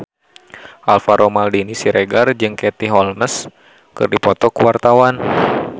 Alvaro Maldini Siregar jeung Katie Holmes keur dipoto ku wartawan